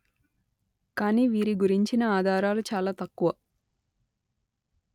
కాని వీరి గురించిన ఆధారాలు చాలా తక్కువ